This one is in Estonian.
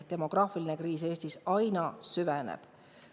Demograafiline kriis Eestis aina süveneb.